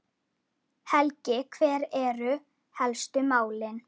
Helgi, hver eru helstu málin?